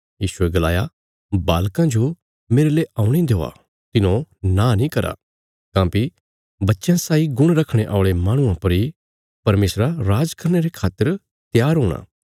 यीशुये गलाया बालकां जो मेरले औणे देआ तिन्हौं नां नीं करा काँह्भई बच्चयां साई गुण रखणे औल़े माहणुआं पर इ परमेशरा राज करने रे खातर त्यार हूणा